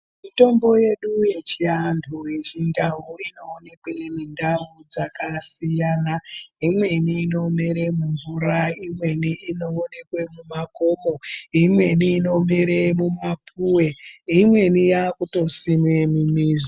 Mitombo yedu yechiantu yechindau inoonekwa mundau dzakasiyana imweni inomera mumvura imweni inoonekwa mumakomo imweni inomere mumapuwe imweni yakutosimwa mumizi.